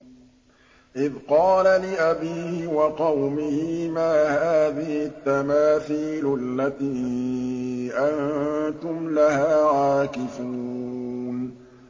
إِذْ قَالَ لِأَبِيهِ وَقَوْمِهِ مَا هَٰذِهِ التَّمَاثِيلُ الَّتِي أَنتُمْ لَهَا عَاكِفُونَ